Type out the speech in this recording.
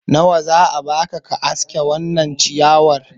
nawa za a baka ka aske wannan ciyawar